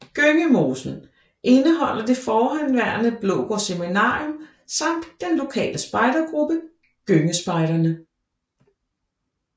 Gyngemosen indeholder det forhenværende Blågård Seminarium samt den lokale spejdegruppe Gyngespejderne